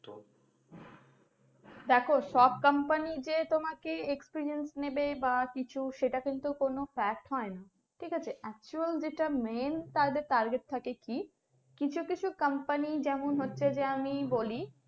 দেখো সব company যে তোমাকে experience নেবে বা কিছু সেটা কিন্তু কোনো fact হয়না ঠিক আছে? Actual যেটা main তাদের target থাকে কি কিছু কিছু company যেমন হচ্ছে যে আমি বলি